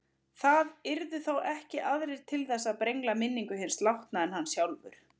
Það yrðu þá ekki aðrir til þess að brengla minningu hins látna en hann sjálfur.